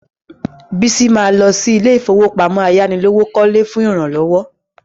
Bísí ma lọ sí ilé ìfowópamọ́ ayánilówókọ́lé fún ìrànlọ́wọ́